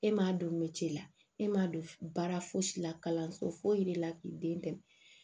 E m'a dɔn melec'i la e m'a dɔn baara fosi la kalanso foyi de la k'i den dɛmɛ